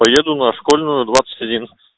поеду на школьную двадцать один